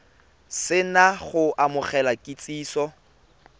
se na go amogela kitsiso